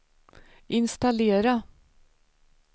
installera